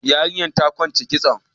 Yarinyar ta kwance kitson.